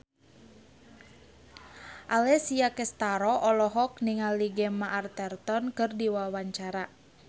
Alessia Cestaro olohok ningali Gemma Arterton keur diwawancara